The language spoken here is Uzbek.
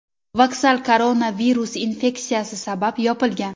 Vokzal koronavirus infeksiyasi sabab yopilgan.